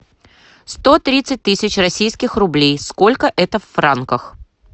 сто тридцать тысяч российских рублей сколько это в франках